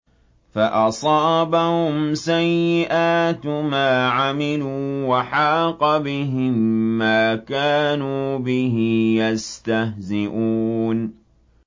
فَأَصَابَهُمْ سَيِّئَاتُ مَا عَمِلُوا وَحَاقَ بِهِم مَّا كَانُوا بِهِ يَسْتَهْزِئُونَ